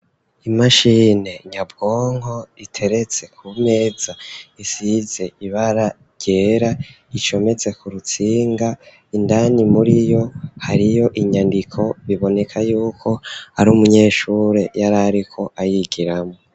Imashini nyabwonko iteretse ku meza isize ibara ryera. Icometse ku rutsinga indani muri yo hariyo inyandiko biboneka yuko ari umunyeshuri y'ari ari ko ayigiramo.